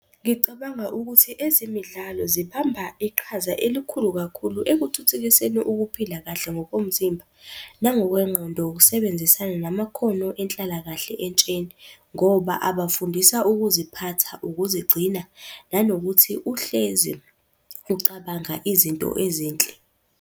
Ngicabanga ukuthi ezemidlalo zibamba iqhaza elikhulu kakhulu ekuthuthukiseni ukuphila kahle ngokomzimba, nangokwengqondo, ukusebenzisana, namakhono enhlalakahle entsheni, ngoba abafundisa ukuziphatha, ukuzigcina, nanokuthi uhlezi ucabanga izinto ezinhle.